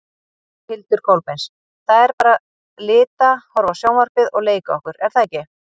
Hildur Kolbeins: Það er bara lita, horfa á sjónvarpið og leika okkur er það ekki?